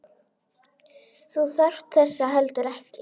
Þú þarft þess heldur ekki.